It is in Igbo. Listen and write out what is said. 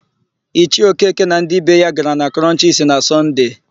Ichie Okeke na ndị be ya gara na Krọnchisi na Sọnde.